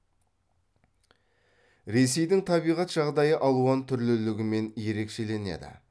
ресейдің табиғат жағдайы алуан түрлілігімен ерекшеленеді